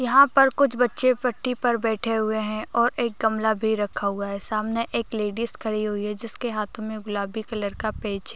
यहां पर कुछ बच्चे पट्टी पर बैठे हुए हैं और एक गमला भी रखा हुआ है सामने एक लेडिस खड़ी हुई जिसके हाथों में गुलाबी कलर का पेज --